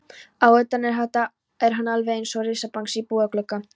Að utan er hann alveg einsog risabangsi í búðarglugga.